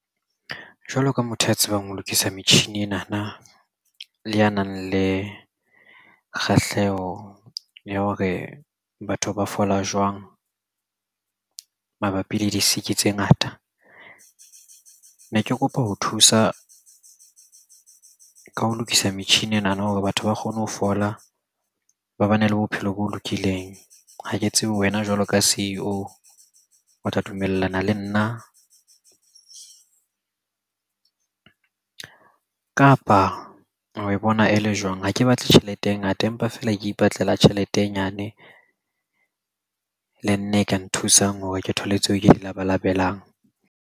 Jwalo ka motho ya tsebang ho lokisa metjhini enana, le a nang le kgahleho ya hore batho ba fola jwang mabapi le di-sick-i tse ngata. Ne ke kopa ho thusa ka ho lokisa metjhini enana hore batho ba kgone ho fola, ba bane le bophelo bo lokileng. Ha ke tsebe wena jwalo ka C_E_O o tla dumellana le nna, kapa oe bona e le jwang? Ha ke batle tjhelete e ngata, empa feela ke ipatlela tjhelete e nyane. Le nna e ka nthusang hore ke thole tseo ke di labalabelang.